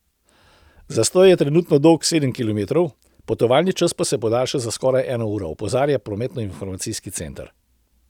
Zastoj je trenutno dolg sedem kilometrov, potovalni čas pa se podaljša za skoraj eno uro, opozarja prometnoinformacijski center.